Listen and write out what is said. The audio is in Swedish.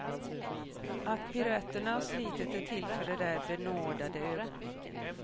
Att piruetterna och slitet är till för de där benådade ögonblicken.